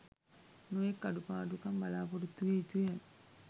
නොයෙක් අඩුපාඩුකම් බලාපොරොත්තු විය යුතුය.